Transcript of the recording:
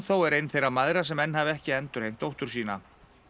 er ein þeirra mæðra sem enn hafa ekki endurheimt dóttur sína